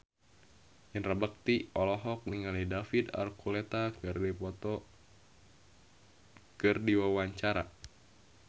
Indra Bekti olohok ningali David Archuletta keur diwawancara